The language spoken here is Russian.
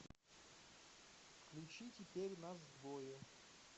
включи теперь нас двое